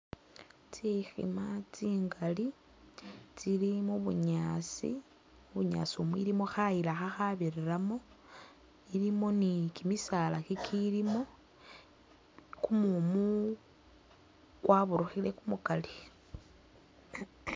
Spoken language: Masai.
Tsikhima tsingali tsili mubunyaasi, bunyaasi mu, ilimo khayila khakhabirilamo, ilimo ni kimisaala kikilimo kumumu kwaburukhile kumukali